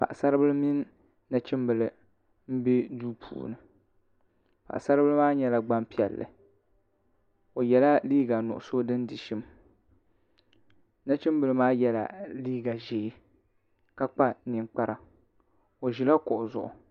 paɣasaribili mini nachimbili n bɛ duu puuni paɣasaribili maa nyɛla Gbanpiɛlli o yɛla liiga nuɣso din di shim nachimbili maa yɛla liiga ʒiɛ ka kpa ninkpara o ʒila kuɣu zuɣu